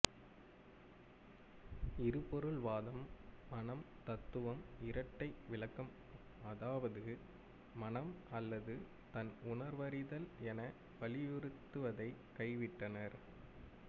இருபொருள் வாதம் மனம்தத்துவம்இரட்டை விளக்கம் அதாவது மனம் அல்லது தன்உணர்வறிதல் என வலியுறுத்துவதை கைவிட்டனர்